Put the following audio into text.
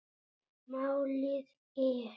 Málið er